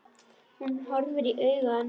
Hún horfir í augu hans.